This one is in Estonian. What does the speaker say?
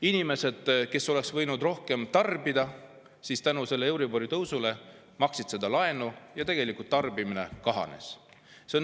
Inimesed, kes oleks võinud rohkem tarbida, maksid euribori tõusu tõttu laenu ja tarbimine kahanes.